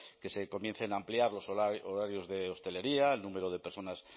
que se comiencen a ampliar los horarios de hostelería el número de personas